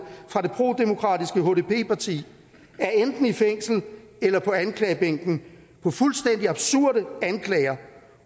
fra det prodemokratiske hdp parti er enten i fængsel eller på anklagebænken for fuldstændig absurde anklager